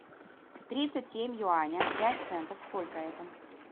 тридцать семь юаня пять центов сколько это